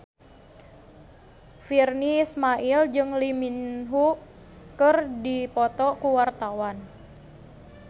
Virnie Ismail jeung Lee Min Ho keur dipoto ku wartawan